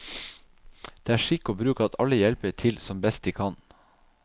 Det er skikk og bruk at alle hjelper til som best de kan.